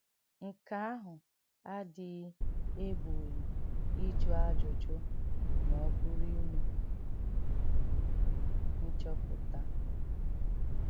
Nkè àhụ̀ àdíghị̀ ègbòghì íjụ́ àjụ́jù mà ọ̀bụ̀rù ìmè nchọ́pụ̀tà.